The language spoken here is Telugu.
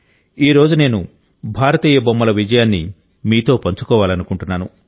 ఈ రోజు నేను భారతీయ బొమ్మల విజయాన్ని మీతో పంచుకోవాలనుకుంటున్నాను